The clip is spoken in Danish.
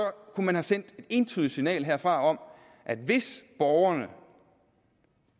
kunne man have sendt et entydigt signal herfra om at hvis borgerne